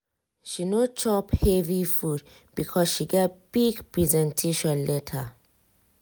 she no chop heavy food because she get big presentation later.